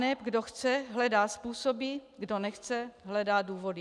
Aneb kdo chce, hledá způsoby, kdo nechce hledá důvody.